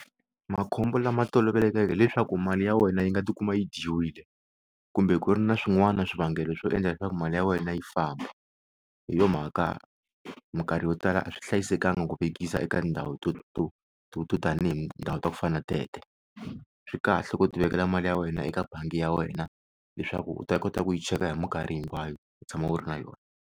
Makhombo lama tolovelekeke leswaku mali ya wena yi nga ti kuma yi dyiwile kumbe ku ri na swin'wana na swivangelo swo endla leswaku mali ya wena yi famba hi yo mhaka minkarhi yo tala a swi hlayisekanga ku vekisa eka ndhawu to to to to tani hi ndhawu ta ku fana na tete swi kahle ku ti vekela mali ya wena eka bangi ya wena leswaku u ta kota ku yi cheka hi mikarhi hinkwayo u tshama u ri na yona.